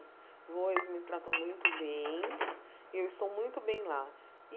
Vou eles me tratam muito bem e eu estou muito bem lá.